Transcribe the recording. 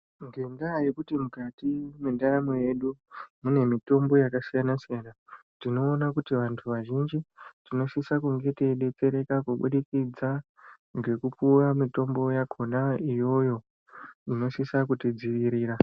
Ngendaa yekuti mwendaramo yedu mune mitombo yakasiyana siyana tinoona kuti vantu vazhinji tinosisa kunge teidetsereka kubudikidza ngekupuwa mitombo yakona iyoyo inosisa kutidzivirira.